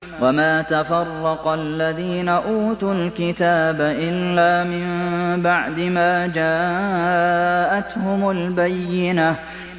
وَمَا تَفَرَّقَ الَّذِينَ أُوتُوا الْكِتَابَ إِلَّا مِن بَعْدِ مَا جَاءَتْهُمُ الْبَيِّنَةُ